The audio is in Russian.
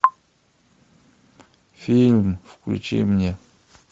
фильм включи мне